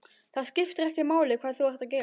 Það skiptir ekki máli hvað þú ert að gera.